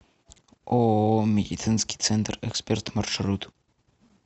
ооо медицинский центр эксперт маршрут